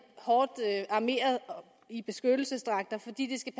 hårdt armeret i beskyttelsesdragter fordi de skal